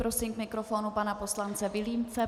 Prosím k mikrofonu pana poslance Vilímce.